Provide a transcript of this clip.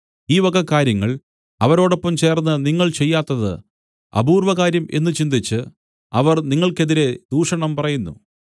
ഈ വക കാര്യങ്ങൾ അവരോടൊപ്പം ചേർന്ന് നിങ്ങൾ ചെയ്യാത്തത് അപൂർവകാര്യം എന്നുചിന്തിച്ച് അവർ നിങ്ങൾക്ക് എതിരെ ദൂഷണം പറയുന്നു